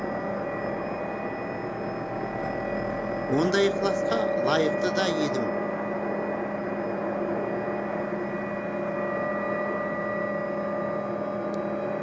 ондай ықыласқа лайықты да едім